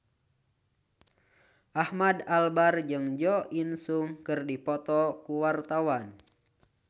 Ahmad Albar jeung Jo In Sung keur dipoto ku wartawan